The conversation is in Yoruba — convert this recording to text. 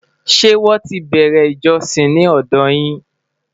ṣé wón tí bere ìjósìn ní òdò yín?